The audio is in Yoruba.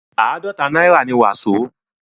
àádọ̀ta náírà ni wàsó.